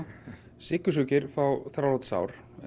sykursjúkir fá þrálát sár